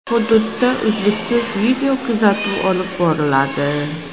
Hududda uzluksiz videokuzatuv olib boriladi.